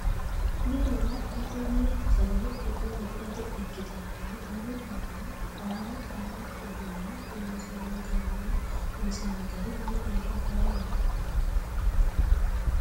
Mine waa agate mine sagale tune wodhate ikkittara yine barru baalla haaro haaro uduune loonsanni gale honsanni gari lowo geeshsha faayyaho.